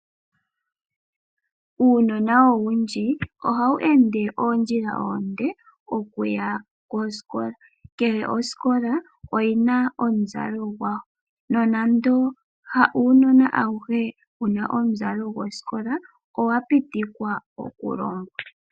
Uunona owundji ohawu ende ondjila oonde okuya koosikola, kehe osikola oyina omuzalo gwawo. Nonando haa unona awuhe wuna omuzalo gwosikola owapitikwa okulongwa.